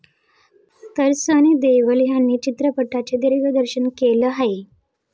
तर सनी देओल यांनी चित्रपटाचे दिग्दर्शन केलं आहे.